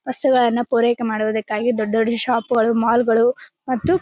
ವಸ್ತುಗಳನ್ನ ಪೂರೈಕೆ ಮಾಡುವುದಕ್ಕಾಗಿ ದೊಡ್ಡ್ ದೊಡ್ಡ್ ಶಾಪ್ಗಳು ಮಾಲ್ ಗಳು ಮತ್ತು--